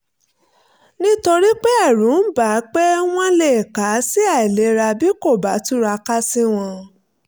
nítorí pé ẹ̀rù ń bà á pé wọ́n lè kà á sí àìlera bí kò bá túraká sí wọn